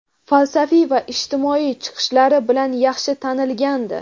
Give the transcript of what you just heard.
falsafiy va ijtimoiy chiqishlari bilan yaxshi tanilgandi.